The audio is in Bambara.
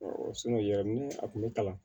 ya ni a kun bɛ kalan